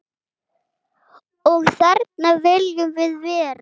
Og þarna viljum við vera.